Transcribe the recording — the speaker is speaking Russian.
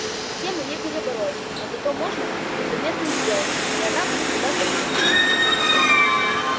систему не перебороть а зато можно незаметным сделаться и она про тебя забудет